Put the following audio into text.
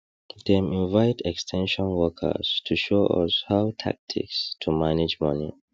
dem invite ex ten sion workers to show us how tactics to manage money